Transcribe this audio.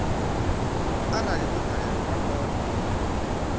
arali vho balelwa vha kona